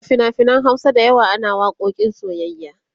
a finafinan Hausa da yawa ana waƙoƙin soyyayya